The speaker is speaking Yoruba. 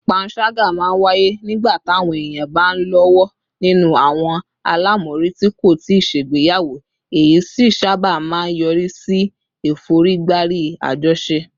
panṣaga máa ń wáyé nígbà táwọn èèyàn bá ń lọ́wọ́ nínú àwọn àlámọ̀rí tí kò tíì ṣègbéyàwó, èyí sì sábà máa ń yọrí sí ìforígbárí àjọṣe